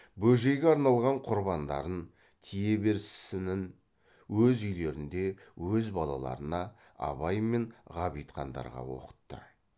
бөжейге арналған құрандарын тие берсінін өз үйлерінде өз балаларына абай мен ғабитхандарға оқытты